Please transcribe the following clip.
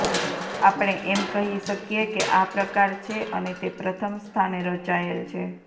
આપણે એમ કહી શકીએ કે આ પ્રકાર છે અને તે પ્રથમ સ્થાને રચાયેલ છે